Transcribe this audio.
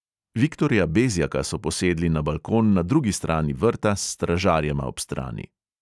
Viktorja bezjaka so posedli na balkon na drugi strani vrta s stražarjema ob strani.